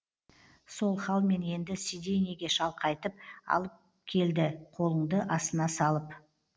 сол халмен енді сиденьеге шалқайтып алып келді қолынды астына салып